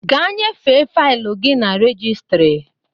Gaa nyefee faịlụ gị na rejistịrị!